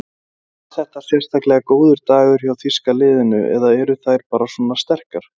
En var þetta sérstaklega góður dagur hjá þýska liðinu eða eru þær bara svona sterkar?